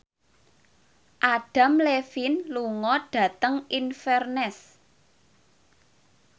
Adam Levine lunga dhateng Inverness